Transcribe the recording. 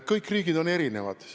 Kõik riigid on erinevad.